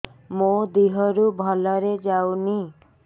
ମୋ ଦିହରୁ ଭଲରେ ଯାଉନି